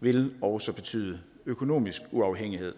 vil også betyde økonomisk uafhængighed